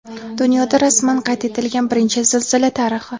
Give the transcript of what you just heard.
Dunyoda rasman qayd etilgan birinchi zilzila tarixi.